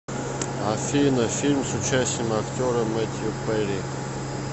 афина фильм с участием актера метью перри